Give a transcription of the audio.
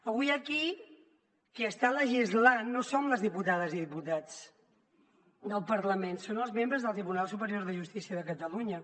avui aquí qui està legislant no som les diputades i diputats del parlament són els membres del tribunal superior de justícia de catalunya